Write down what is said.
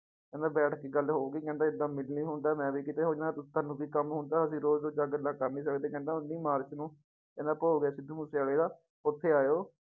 ਕਹਿੰਦਾ ਬੈਠ ਕੇ ਗੱਲ ਹੋਊਗੀ ਕਹਿੰਦਾ ਏਦਾਂ ਮਿਲ ਨੀ ਹੁੰਦਾ ਮੈਂ ਵੀ ਕਿਤੇ ਹੁਨਾ, ਤੁਹਾਨੂੂੰ ਵੀ ਕੰਮ ਹੁੰਦਾ ਅਸੀਂ ਰੋਜ਼ ਰੋਜ਼ ਤਾਂ ਆਹ ਗੱਲਾਂ ਕਰ ਨੀ ਸਕਦੇ ਕਹਿੰਦਾ ਉੱਨੀ ਮਾਰਚ ਨੂੰ ਕਹਿੰਦਾ ਭੋਗ ਹੈ ਸਿੱਧੂ ਮੂਸੇਵਾਲੇ ਦਾ ਉੱਥੇ ਆਇਓ।